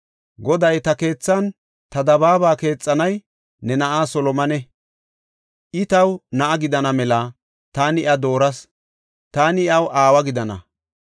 “Goday, ‘Ta keethaanne ta dabaaba keexanay ne na7aa Solomone. I taw na7a gidana mela taani iya dooras; taani iyaw aawa gidana.